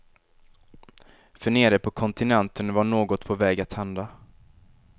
För nere på kontinenten var något på väg att hända.